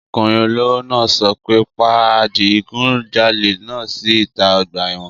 Ọkùnrin olówó náà sọ pé pa adigunjalè náà sí ìta ọgbà ẹ̀wọ̀n!